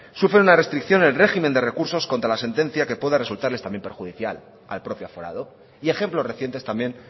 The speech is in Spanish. sufren una restricción el régimen de recursos contra la sentencia que pueda resultarles también perjudicial al propio aforado y ejemplos recientes también